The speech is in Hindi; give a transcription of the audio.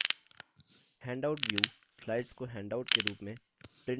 handout view slides को हैन्डाउट के रूप में print करने की सुविधा देता है